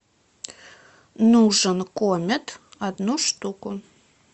нужен комет одну штуку